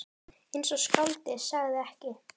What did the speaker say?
Eins og skáldið sagði ekki.